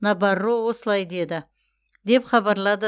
набарро осылай деді деп хабарлады